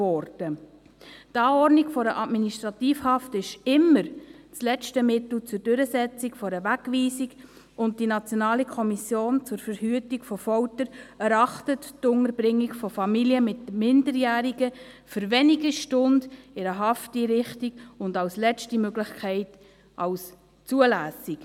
Die Anordnung einer Administrativhaft ist immer das letzte Mittel zur Durchsetzung einer Wegweisung, und die NKVF erachtet die Unterbringung von Familien mit Minderjährigen in einer Hafteinrichtung für wenige Stunden und als letzte Möglichkeit als zulässig.